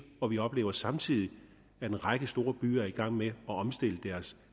og vi oplever samtidig at en række store byer er i gang med at omstille